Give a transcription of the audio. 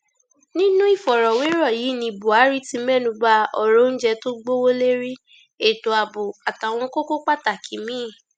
nínú ìfọrọwérọ yìí náà ni buhari ti mẹnubba ọrọ oúnjẹ tó gbowó lérí ètò ààbò àtàwọn kókó pàtàkì míín